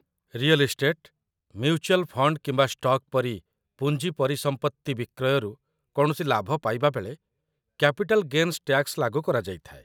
real estate, mutual fund କିମ୍ବା stock ପରି ପୁଞ୍ଜି ପରିସମ୍ପତ୍ତି ବିକ୍ରୟରୁ କୌଣସି ଲାଭ ପାଇବା ବେଳେ କ୍ୟାପିଟାଲ୍ ଗେନ୍ସ ଟ୍ୟାକ୍ସ ଲାଗୁ କରାଯାଇଥାଏ